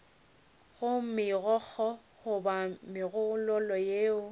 go megokgo goba megololo yeo